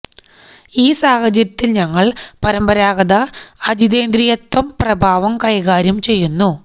ഈ സാഹചര്യത്തിൽ ഞങ്ങൾ പരമ്പരാഗത അജിതേന്ദ്രിയത്വം പ്രഭാവം കൈകാര്യം ചെയ്യുന്നു